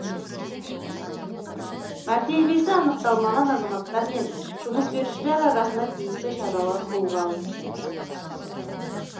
мәртебесі анықталмаған азаматтар мен жұмыс берушілер арасында тиісті шаралар қолға алынды